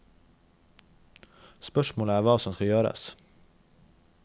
Spørsmålet er hva som skal gjøres.